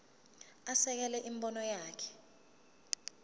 asekele imibono yakhe